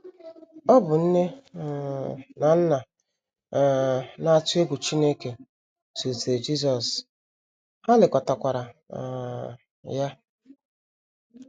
Ọ bụ nne um na nna um na - atụ egwu Chineke zụlitere Jisọs, ha lekọtakwara um ya.